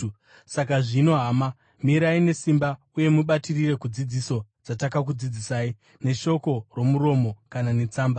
Saka zvino, hama mirai nesimba uye mubatirire kudzidziso dzatakakudzidzisai, neshoko romuromo kana netsamba.